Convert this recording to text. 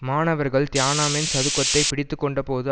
மாணவர்கள் தியானாமென் சதுக்கத்தை பிடித்துக்கொண்டபோது